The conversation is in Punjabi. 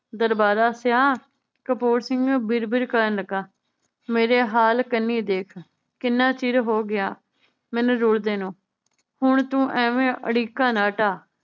ਦਰਬਾਰਾ ਸਿੰਹਾਂ ਕਪੂਰ ਸਿੰਘ ਨੂੰ ਬਿਰ ਬਿਰ ਕਰਨ ਲੱਗਾ, ਮੇਰੇ ਹਾਲ ਕੰਨੀ ਦੇਖ ਕਿੰਨਾਂ ਚਿਰ ਹੋਗਿਆ ਮੈਨੂੰ ਰੁਲਦੇ ਨੂੰ। ਹੁਣ ਤੂੰ ਐਵੇਂ ਅੜਿੱਕਾ ਨਾ ਢਾ।